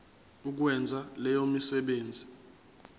ukwenza leyo misebenzi